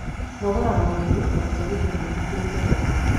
Nogoraga mwĩrĩ na gũtwarithia maithikiri kĩroko.